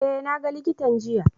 Eh na ga likitan jiya.